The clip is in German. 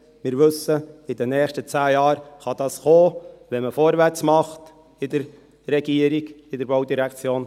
Wir wissen, in den nächsten zehn Jahren kann dies kommen, wenn man vorwärts macht in der Regierung, in der Baudirektion.